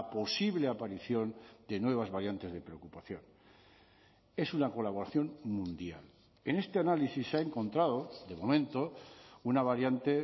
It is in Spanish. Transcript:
posible aparición de nuevas variantes de preocupación es una colaboración mundial en este análisis se ha encontrado de momento una variante